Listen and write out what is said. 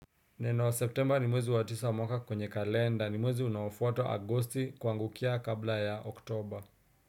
Neno september ni mwezi wa tisa wa mwaka kwenye kalenda ni mwezi unaofuata agosti kuangukia kabla ya oktoba.